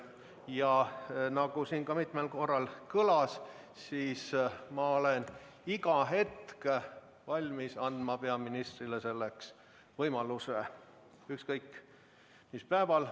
Ja nagu siin mitmel korral kõlas, ma olen iga hetk valmis andma peaministrile selleks ettekandeks võimaluse – ükskõik, mis päeval.